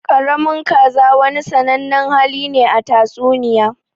Ƙaramin kaza wani sannanen hali ne a tatsuniya.